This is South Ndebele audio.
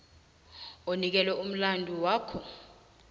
onikelwe umlandu wakho